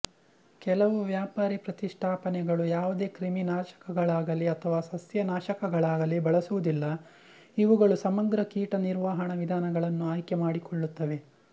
ಕೆಲವು ವ್ಯಾಪಾರಿ ಪ್ರತಿಷ್ಠಾಪನೆಗಳು ಯಾವುದೇ ಕ್ರಿಮಿನಾಶಕಗಳಾಗಲಿ ಅಥವಾ ಸಸ್ಯನಾಶಕಗಳಾಗಲಿ ಬಳಸುವುದಿಲ್ಲ ಇವುಗಳು ಸಮಗ್ರ ಕೀಟ ನಿರ್ವಹಣಾ ವಿಧಾನಗಳನ್ನು ಆಯ್ಕೆ ಮಾಡಿಕೊಳ್ಳುತ್ತವೆ